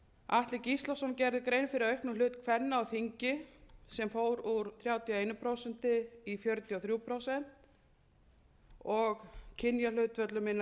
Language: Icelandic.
atli gíslason gerði grein fyrir auknum hlut kvenna á þingi sem fór úr þrjátíu og eitt prósent í fjörutíu og þrjú prósent og kynjahlutföllum innan